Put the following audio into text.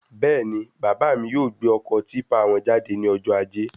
Bẹ́ẹ̀ni, bàbá mí yóò gbé ọkọ típpà wọn jáde ní ọjọ ajé